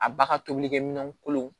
A ba ka tobilikɛ minɛnw kolon